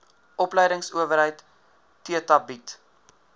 opleidingsowerheid theta bied